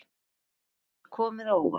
Hver hefur komið á óvart?